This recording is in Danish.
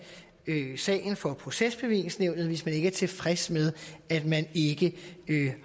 sagen for procesbevillingsnævnet hvis man ikke er tilfreds med at man ikke